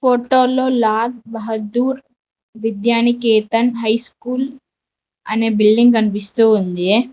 ఫొటోలో Lal Bahadur Vidyaniketan high school అనే building కనిపిస్తూ ఉందీ.